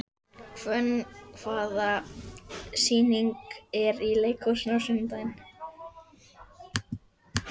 Hvönn, hvaða sýningar eru í leikhúsinu á sunnudaginn?